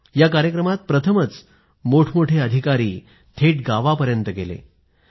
या कार्यक्रमात प्रथमच मोठमोठे अधिकारी थेट गावांपर्यंत गेले